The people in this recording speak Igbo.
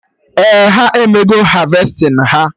Ee, ha emego harvesting ha